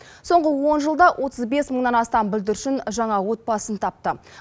соңғы он жылда отыз бес мыңнан астам бүлдіршін жаңа отбасын тапты